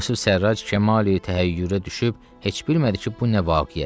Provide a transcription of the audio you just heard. Yusif Sərrac kəmal-i təhəyyürə düşüb heç bilmədi ki, bu nə vaqiyədir.